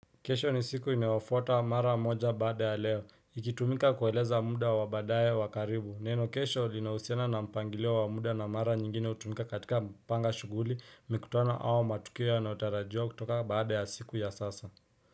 Kesho ni siku inayofuata mara moja baada ya leo. Ikitumika kueleza muda wa baadaye wa karibu. Neno kesho linahusiana na mpangilio wa muda na mara nyingine hutumika katika kupanga shughuli mikutano au matukio yanayotarajiwa kutoka baada ya siku ya sasa.